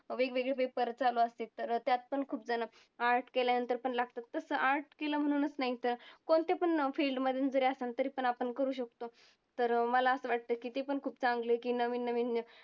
वेगवेगळे paper चालू असतात तर त्यात पण खूपजणं art केल्यानंतर पण लागतात. तसं art केलं म्हणूनच नाही तर कोणत्या पण अं field मधून जरी असन तरी पण आपण करू शकतो तर मला असं वाटतं की ते पण खूप चांगलं आहे की नवीन नवीन